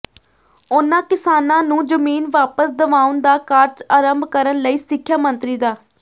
ਉਨ੍ਹਾਂ ਕਿਸਾਨਾਂ ਨੂੰ ਜ਼ਮੀਨ ਵਾਪਸ ਦਵਾਉਣ ਦਾ ਕਾਰਜ ਆਰੰਭ ਕਰਨ ਲਈ ਸਿੱਖਿਆ ਮੰਤਰੀ ਡਾ